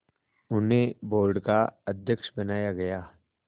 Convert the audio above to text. उन्हें बोर्ड का अध्यक्ष बनाया गया